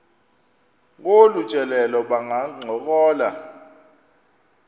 kolu tyelelo bangancokola